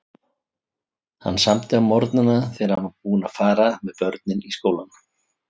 Hann samdi á morgnana þegar hann var búinn að fara með börnin í skólann.